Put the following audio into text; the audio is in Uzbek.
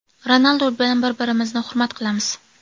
Ronaldu bilan bir-birimizni hurmat qilamiz.